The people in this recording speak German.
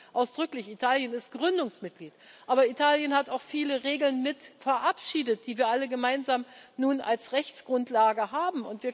Ich sage das ausdrücklich. Italien ist Gründungsmitglied. Aber Italien hat auch viele Regeln mit verabschiedet, die wir alle gemeinsam nun als Rechtsgrundlage haben.